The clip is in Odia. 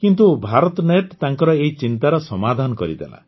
କିନ୍ତୁ ଭାରତନେଟ୍ ତାଙ୍କର ଏହି ଚିନ୍ତାର ସମାଧାନ କରିଦେଲା